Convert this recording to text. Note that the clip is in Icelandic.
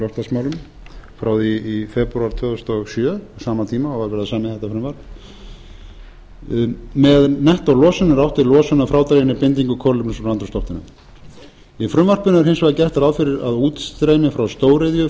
loftslagsmálum frá því í febrúar tvö þúsund og sjö á sama tíma og var verið að semja þetta frumvarp með nettólosun er átt við losun að frádreginni bindingu kolefnis úr andrúmsloftinu í frumvarpinu er hins vegar gert ráð fyrir að útstreymi frá stóriðju